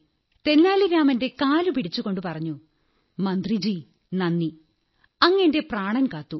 തെന്നാലി രാമന്റെ കാലുപിടിച്ചുകൊണ്ടു പറഞ്ഞു മന്ത്രിജീ നന്ദി അങ്ങ് എന്റെ പ്രാണൻ കാത്തു